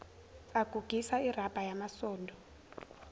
agugisa irabha yamasondo